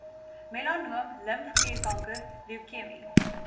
melanoom limfklierkanker leukemie